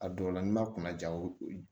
A dɔw la n'i ma kuna ja o ye